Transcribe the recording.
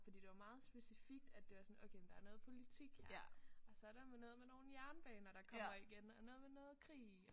Fordi det var meget specifikt at det var sådan okay der er noget politik her og så er der noget med nogle jernbaner der kommer igen og noget med noget krig